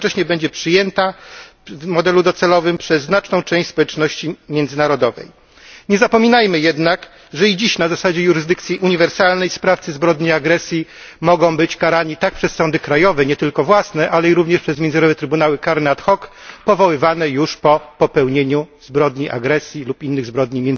Jednocześnie będzie przyjęta w modelu docelowym przez znaczną część społeczności międzynarodowej. Nie zapominajmy jednak, że i dziś, na zasadzie jurysdykcji uniwersalnej, sprawcy zbrodni agresji mogą być karani tak przez sądy krajowe, nie tylko własne, ale i również przez międzynarodowe trybunały karne ad hoc, powoływane już po popełnieniu zbrodni agresji lub innych zbrodni